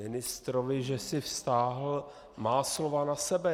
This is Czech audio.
... ministrovi, že si vztáhl má slova na sebe.